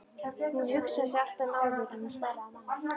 Hún hugsaði sig alltaf um áður en hún svaraði manni.